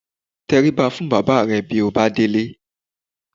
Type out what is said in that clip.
Tẹrí ba fún bàbá rẹ bí ó bá délé